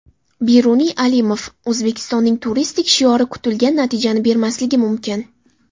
Beruniy Alimov: O‘zbekistonning turistik shiori kutilgan natijani bermasligi mumkin.